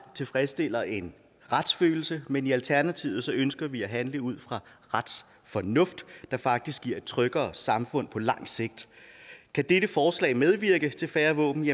tilfredsstiller en retsfølelse men i alternativet ønsker vi at handle ud fra retsfornuft der faktisk giver et tryggere samfund på lang sigt kan dette forslag medvirke til færre våben